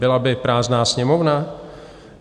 Byla by prázdná sněmovna?